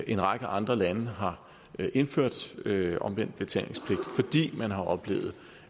en række andre lande har indført omvendt betalingspligt fordi man har oplevet